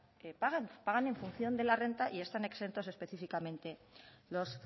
pagan pagan en función de la renta y están exentos específicamente los